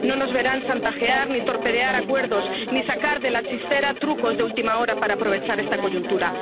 No nos verán chantajear ni torpedear acuerdos, ni sacar de la chistera trucos de última hora para aprovechar esta coyuntura.